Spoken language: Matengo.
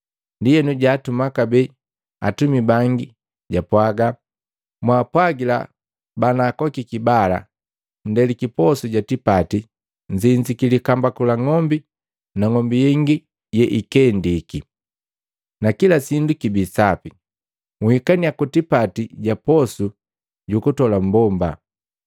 Ndienu jatuma kabee atumika bangi japwaga, ‘Mwaapwagila banaakokiki bala, ndeliki posu ja tipati, nzinziki likambaku la ng'ombi na ng'ombi yengi yeikendiki, nakila sindu kibii sapi. Nhikaniya ku tipati ga posu ja kutola mmbomba.’